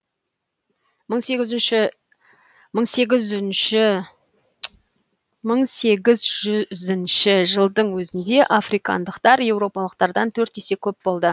мың сегіз жүзінші жылдың өзінде африкандықтар еуропалықтардан төрт есе көп болды